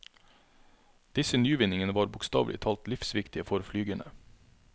Disse nyvinningene var bokstavelig talt livsviktige for flygerne.